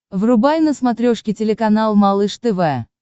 врубай на смотрешке телеканал малыш тв